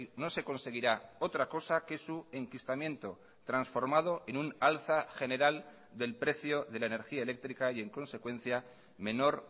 no se conseguirá otra cosa que su enquistamiento transformado en un alza general del precio de la energía eléctrica y en consecuencia menor